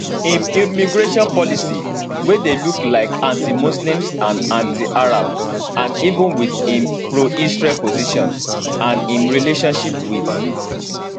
im immigration policy wey dey look like antimuslim and antiarab and even wit im proisrael position and im relationship wit